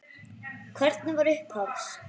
Hvernig var upphafs?